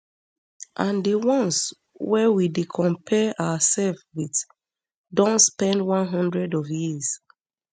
and di ones wey we dey compare oursef wit don spend one hundred of years